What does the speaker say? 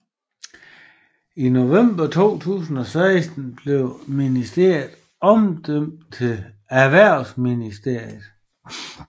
I november 2016 blev ministeriet omdøbt til Erhvervsministeriet